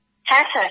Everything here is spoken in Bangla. হ্যাঁ স্যার